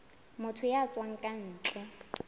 motho ya tswang ka ntle